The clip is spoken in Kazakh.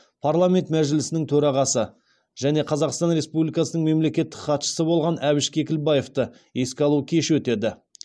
парламент мәжілісінің төрағасы және қазақстан республикасының мемлекеттік хатшысы болған әбіш кекілбаевты еске алу кеші өтеді